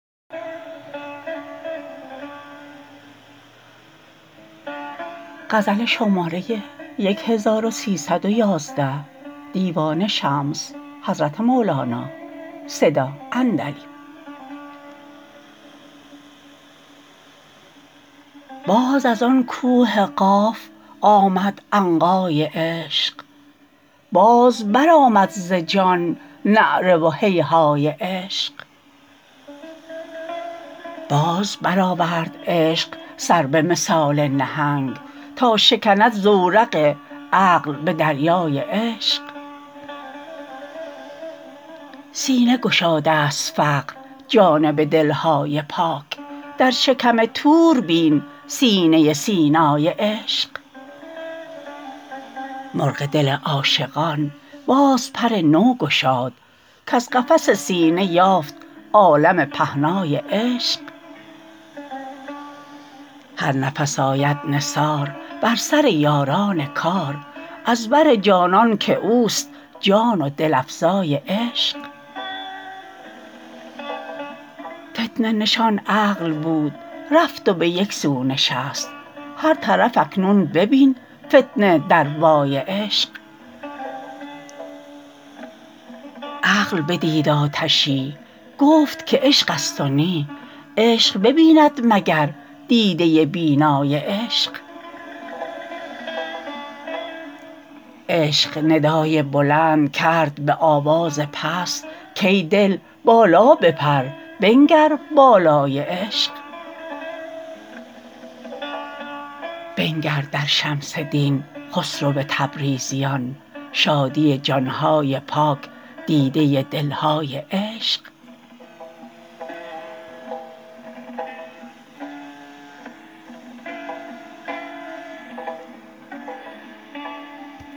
باز از آن کوه قاف آمد عنقای عشق باز برآمد ز جان نعره و هیهای عشق باز برآورد عشق سر به مثال نهنگ تا شکند زورق عقل به دریای عشق سینه گشادست فقر جانب دل های پاک در شکم طور بین سینه سینای عشق مرغ دل عاشقان باز پر نو گشاد کز قفس سینه یافت عالم پهنای عشق هر نفس آید نثار بر سر یاران کار از بر جانان که اوست جان و دل افزای عشق فتنه نشان عقل بود رفت و به یک سو نشست هر طرف اکنون ببین فتنه دروای عشق عقل بدید آتشی گفت که عشقست و نی عشق ببیند مگر دیده بینای عشق عشق ندای بلند کرد به آواز پست کای دل بالا بپر بنگر بالای عشق بنگر در شمس دین خسرو تبریزیان شادی جان های پاک دیده دل های عشق